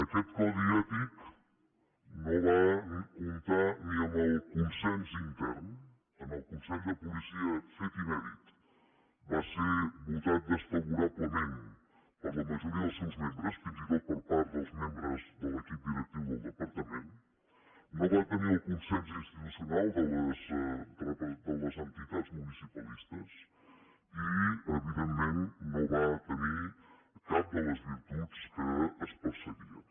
aquest codi ètic no va comptar ni amb el consens intern en el consell de policia fet inèdit va ser votat desfavorablement per la majoria dels seus membres fins i tot per part dels membres de l’equip directiu del departament no va tenir el consens institucional de les entitats municipalistes i evidentment no va tenir cap de les virtuts que es perseguien